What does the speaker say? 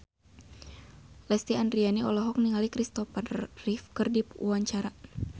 Lesti Andryani olohok ningali Kristopher Reeve keur diwawancara